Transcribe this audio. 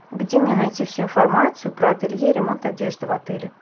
где мне найти всю информацию про ателье ремонт одежды в отеле